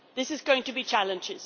This is going to be challenging.